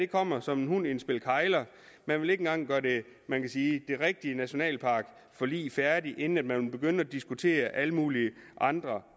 kommer som en hund i et spil kegler man vil ikke engang gøre det man kan sige rigtige nationalparkforlig færdigt inden man vil begynde at diskutere alle mulige andre